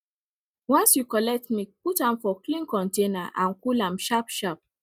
once you collect milk put am for clean container and cool am sharp sharp